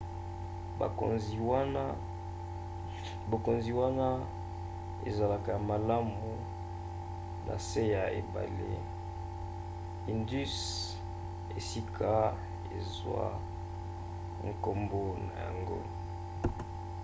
bokonzi wana ezalaka ya malamu na se ya ebale indus esika ezwa nkombo na yango